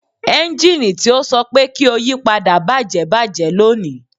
Ẹnjini ti o sọ pe ki o yipada bajẹ bajẹ loni